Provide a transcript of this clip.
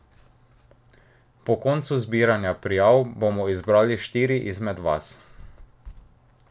Po koncu zbiranja prijav bomo izbrali štiri izmed vas.